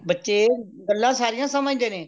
ਬੱਚੇ ਗੱਲਾਂ ਸਾਰੀਆਂ ਸਮਝਦੇ ਨੇ